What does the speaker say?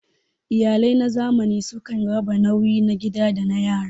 Iyalai na zamani sukan raba nauyi na gida da na yara.